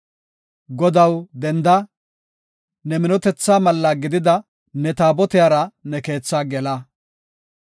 Godaw, denda! Ne minotethaa malla gidida ne Taabotiyara ne keethaa gela.